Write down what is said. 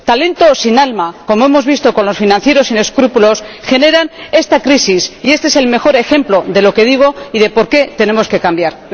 El talento sin alma, como hemos visto con los financieros sin escrúpulos, genera esta crisis, y este es el mejor ejemplo de lo que digo y de por qué tenemos que cambiar.